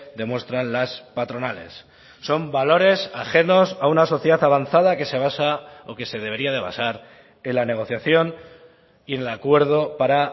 demuestran las patronales son valores ajenos a una sociedad avanzada que se basa o que se debería de basar en la negociación y en el acuerdo para